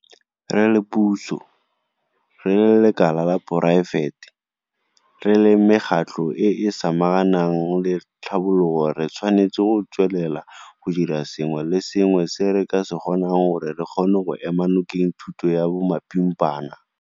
Re le puso, re le lekala la poraefete, re le mekgatlho e e samaganang le tlhabologo re tshwanetse go tswelela go dira sengwe le sengwe se re ka se kgonang gore re kgone go ema nokeng thuto ya bomapimpana.